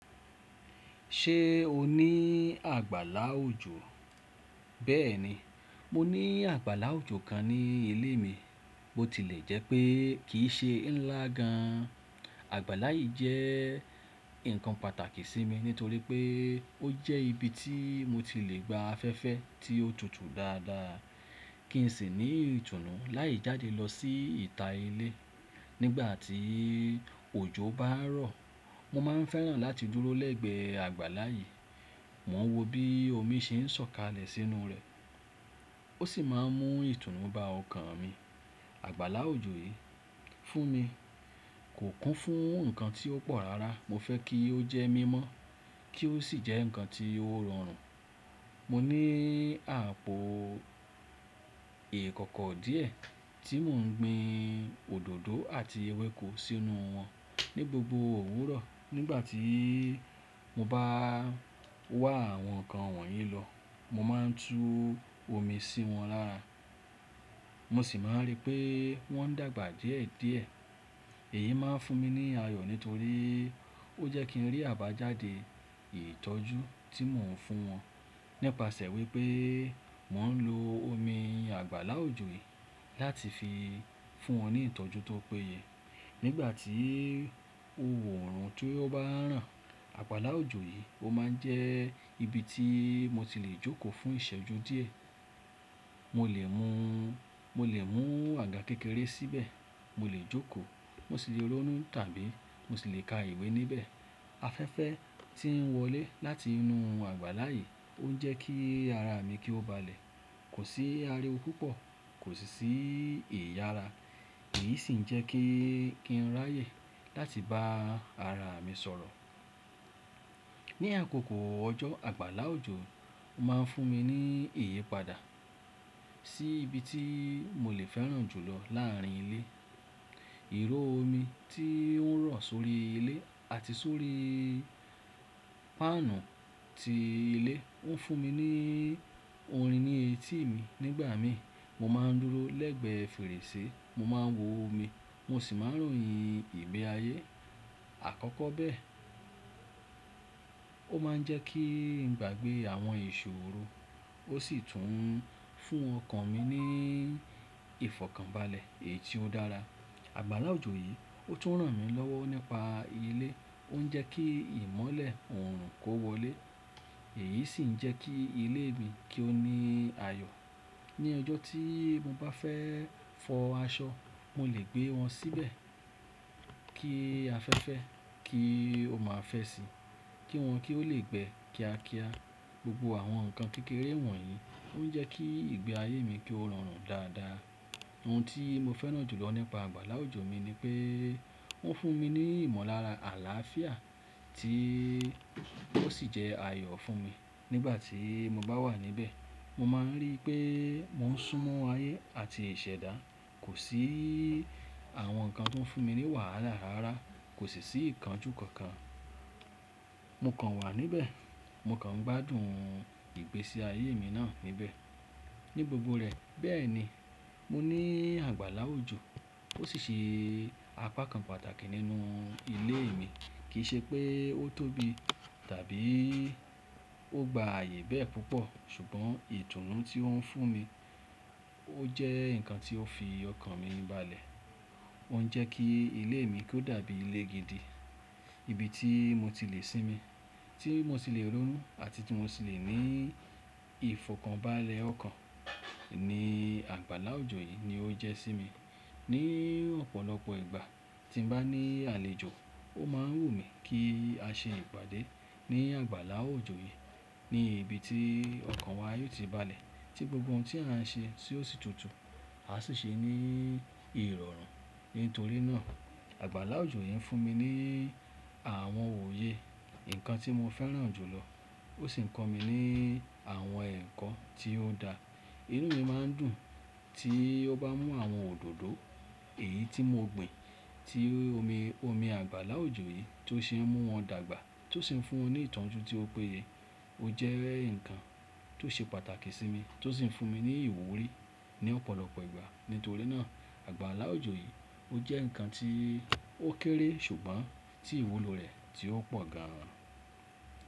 Ṣé o ní àgbàlá òjò? Bẹ́ẹ̀ni, mo ní àgbàlá òjò kan ní ilé mi. Bo tilẹ̀ jẹ́ pé kìí n ṣe ńlá gan an. Àgbàlá yìí jẹ́ nǹkan pàtàkì sí mi nítorí pé ó jẹ́ ibi tí mo tilẹ̀ gba afẹ́fẹ́ tí ó tutù dáadáa, kí n sì ní ìtùnú láì jáde lọ sí ìta ilé. Nígbà tí òjò bá ń rọ̀, mo máa ń fẹ́ràn láti dúró lẹ́gbẹ àgbàlá yìí. Mo ń wo bí omi ṣe ń san kalẹ̀ sínú rẹ̀ ó sì máa ń mú ìtùnú bá ọkàn mi. Àgbàlá òjò yìí fún mi, kò kún fún nǹkan tí ó pọ̀ rárá. Mo fẹ́ kí ó jẹ́ mímọ́ kí ó sì jẹ́ nǹkan tí ó rọrùn. Mo ní àpò ìkọ́kọ́ díẹ̀ tí mò ń gbin òdòdó àti ewéko sínú wọn. Ni gbogbo òwúrọ̀ nígbà tí mo bá wá àwọn nǹkan wọ̀nyí lọ, mo máa ń tú omi sí wọn lára. Mo sì máa ń rí pé wọ́n ń dàgbà díẹ̀díẹ̀. Èyí máa ń fún mi ní ayọ̀ nítorí ó jẹ́ kí ń rí àbájáde ìtọ́jú tí mò ń fún wọn nípasẹ̀ wípé mò ń lo omi àgbàlá òjò yìí láti fi fún wọn ní ìtọ́jú tó péye. Nígbà tí òwúrọ̀ ń tún bá ń ràn, àgbàlá òjò yìí ó máa ń jẹ́ ibi tí mo tilẹ̀ jókòó fún ìṣẹ́jú díẹ̀. Mo lè mú, mo lè mú àga kékeré síbẹ̀, mo lè jókòó, mo sì lè ronú tàbí mo sì lè ka ìwé níbẹ̀. Afẹ́fẹ́ tí ń wọlé láti inú àgbàlá yìí ó ń jẹ́ kí ara mi kí ó balẹ̀, kò sí ariwó púpọ̀, kò sì sí ìyara. Èyí sì ń jẹ́ kí ń ráyè láti bá ara mi sọ̀rọ̀. Ni àkókò ọjọ́ àgbàlá òjò ó máa ń fún mi ní ìyípadà sí ibi tí mo lè fẹ́ràn jù lọ láàrin ilé. Ìró omi tí ó ń rọ̀ sórí ilé àti sórí páànù tí ilé ń fún mi ní orin ní etí mi. Nígbà mii, mo máa ń dúró lẹ́gbẹ fèrèsé, mo máa ń wo omi mo sì máa ń ròyìn ìgbé ayé. Àkọ́kọ́ bẹ́ẹ̀, ó máa ń jẹ́ kí ń gbàgbé àwọn iṣòró, ó sì tún ń fún ọkàn mi ní ìfọ̀kànbalẹ̀ èyí tí ó dára. Àgbàlá òjò yìí ó tún ràn mí lọ́wọ́ nípa ilé. Ó ń jẹ́ kí ìmọ́lẹ̀ òòrùn kó wọlé, èyí sì ń jẹ́ kí ilé mi kí ó ní ayọ̀. Ni ọjọ́ tí mo bá fẹ́ fọ aṣọ, mo lè gbé wọn síbẹ̀ kí afẹ́fẹ́ kí ó máa fẹ́ sí i, kí wọn kí ó lè gbẹ kiakia. Gbogbo àwọn nǹkan kékeré wọ̀nyí ó ń jẹ́ kí ìgbé ayé mi kí ó rọrùn dáadáa. Ohun tí mo fẹ́ràn jù lọ nípa àgbàlá òjò mi ni pé ó ń fún mi ní ìmọ̀lára àlàáfíà tí ó sì jẹ́ ayọ̀ fún mi. Nígbà tí mo bá wà níbẹ̀, mo máa ń rí i pé mò ń súnmọ́ ayé àti ìṣẹ̀dá. Kò sí àwọn nǹkan tí ó ń fún mi ní wàhálà rárá, kò sì sí ìkánjú kankan. Mo kàn wà níbẹ̀, mo kàn ń gbádùn ìgbésí ayé mi náà níbẹ̀ ní gbogbo rẹ̀. Bẹ́ẹ̀ ni, mo ní àgbàlá òjò ó sì ṣe apá kan pàtàkì nínú ilé mi. Kì í ṣe pé ó tóbi tàbí ó gba ààyè bẹ́ẹ̀ púpọ̀ ṣùgbọ́n ìtùnú tí ó ń fún mi ó jẹ́ nǹkan tí ó fi ọkàn mi balẹ̀. Ó ń jẹ́ kí ilé mi kó dàbí ilé gidi, ibi tí mo tilẹ̀ sinmi, tí mo tilẹ̀ ronú àti tí mo tilẹ̀ ní ìfọ̀kànbalẹ̀ ọkàn ni àgbàlá òjò yìí ni ó jẹ́ sí mi. Ni ọ̀pọ̀lọpọ̀ ìgbà tí mo bá ní àlejò ó máa ń wù mí kí á ṣe ìpàdé ní àgbàlá òjò yìí ní ibi tí ọkàn wa yóò ti balẹ̀ tí gbogbo ohun tí à ń ṣe tí ó sì tutù, a sì ṣe ní ìrọ̀rùn. Nítorí náà àgbàlá òjò yìí ń fún mi ní àwọn òye, nǹkan tí mo fẹ́ràn jù lọ ó sì ń kọ́ mi ní àwọn ẹ̀kọ́ tí ó dá. Inú mi máa ń dùn tí ó bá mú àwọn òdòdó èyí tí mo gbin tí omi, omi àgbàlá òjò yìí tó ṣe ń mú wọn dàgbà tó sì ń fún wọn ní ìtọ́jú tí ó péye. Ó jẹ́ nǹkan tí ó ṣe pàtàkì sí mi tó sì ń fún mi ní ìwúrí ní ọ̀pọ̀lọpọ̀ ìgbà. Nítorí náà àgbàlá òjò yìí ó jẹ́ nǹkan tí ó kéré ṣùgbọ́n tí ìwúlo rẹ̀ tí ó pọ̀ gan an.